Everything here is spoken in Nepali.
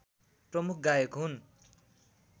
प्रमुख गायक हुन्